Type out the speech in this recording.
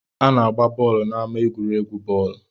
A na-agba bọọlụ n'ama egwuregwu bọọlụ.